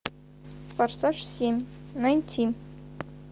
форсаж семь найти